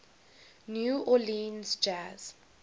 new orleans jazz